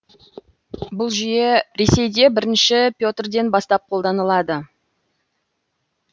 бұл жүйе ресейде бірінші петрден бастап қолданылды